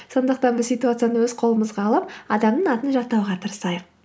сондықтан біз ситуацияны өз қолымызға алып адамның атын жаттауға тырысайық